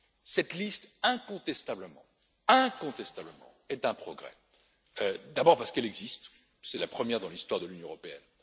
Cette liste, incontestablement, est un progrès, d'abord parce qu'elle existe c'est la première dans l'histoire de l'Union européenne